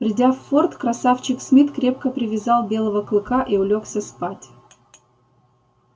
придя в форт красавчик смит крепко привязал белого клыка и улёгся спать